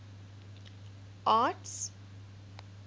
arts